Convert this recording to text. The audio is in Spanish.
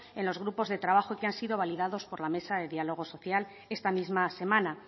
en los grupos de trabajo y que han sido validados por la mesa de diálogo social esta misma semana